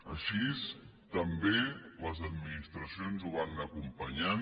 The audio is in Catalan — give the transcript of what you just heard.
així també les administracions ho van anar acompanyant